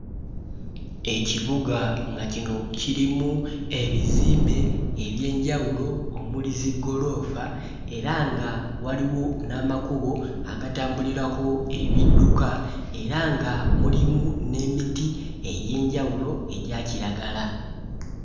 Ekibuga nga kino kirimu ebizimbe eby'enjawulo omuli ziggoloofa era nga waliwo n'amakubo agatambulirako ebidduka era nga mulimu n'emiti egy'enjawulo egya kiragala.